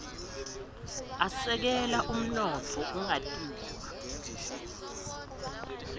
asekela umnotfo ungawia